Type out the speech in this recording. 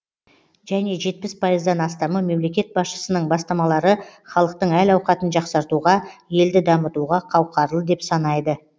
және жетпіс пайыздан астамы мемлекет басшысының бастамалары халықтың әл ауқатын жақсартуға елді дамытуға қауқарлы деп санайды